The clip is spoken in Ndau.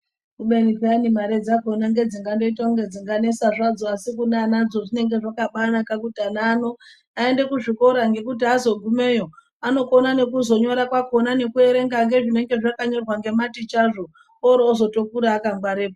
Kubeni peyani mare dzakhona nGedzingaita dzinonesa zvadzo asi kune anadzo zvinge zvakabanaka kuti ana ano aende kuzvikora ngekuti aZogumeyo anokona kuzonyora ngekuerenga zvinenge zvanyorwa ngematicha orotozokura akangwarepo